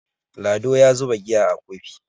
Lado ya zuba giya a Kofi